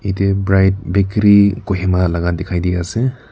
yatey bright bakery kohima laka dikhi diase.